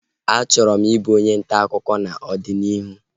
A chọrọ m ị bụ onye ntaakụkọ n'ọdịnihu